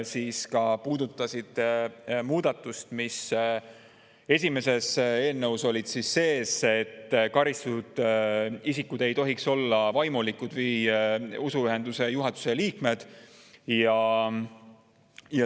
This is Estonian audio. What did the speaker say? Need puudutasid ka seda, mis eelnõus sees oli, et karistatud isikud ei tohiks olla vaimulikud või usuühenduse juhatuse liikmed.